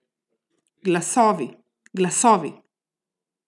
Glasovi, glasovi.